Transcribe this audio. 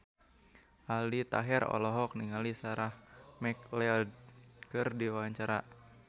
Aldi Taher olohok ningali Sarah McLeod keur diwawancara